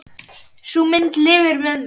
Sú mynd lifir með mér.